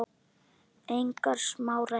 Engar smá ræður!